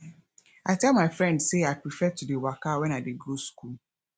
i tell my friend sey i prefer to dey waka wen i dey go skool